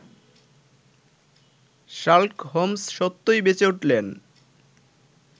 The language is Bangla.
শার্লক হোমস সত্যই বেঁচে উঠলেন